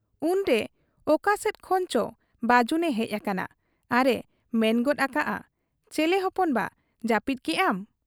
ᱩᱱᱨᱮ ᱚᱠᱟ ᱥᱮᱫ ᱠᱷᱚᱱᱪᱚ ᱵᱟᱹᱡᱩᱱᱮ ᱦᱮᱡ ᱟᱠᱟᱱᱟ ᱟᱨ ᱮ ᱢᱮᱱᱜᱚᱫ ᱟᱠᱟᱜ ᱟ ᱼᱼ 'ᱪᱮᱞᱮ ᱦᱚᱯᱚᱱ ᱵᱟ ᱾ ᱡᱟᱹᱯᱤᱫ ᱠᱮᱜ ᱟᱢ ?'